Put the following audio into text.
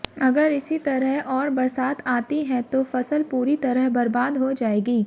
अगर इसी तरह और बरसात आती है तो फसल पूरी तरह बर्बाद हो जाएगी